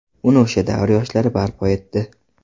Uni o‘sha davr yoshlari barpo etdi.